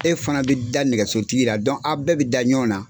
E fana bɛ da nɛgɛsotigi la aw bɛɛ bɛ da ɲɔgɔn na.